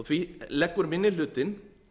því leggur minni hlutinn